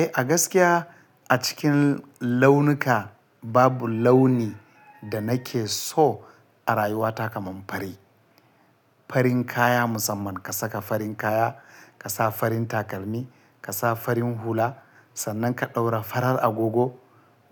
Eh, a gaskiya a cikin launuka babu launi da nake so a rayuwata kamar fari. Farin kaya musamman ka saka farin kaya, ka sa farin takalmi, ka sa farin hula, sannan ka ɗaura farar agogo.